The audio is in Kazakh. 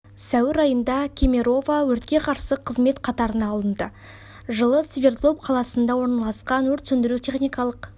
сәуір айында кемерова өртке қарсы қызмет қатарына алынды жылы свердлов қаласында орналасқан өрт сөндіру техникалық